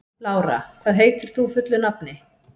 Lára, hvað heitir þú fullu nafni?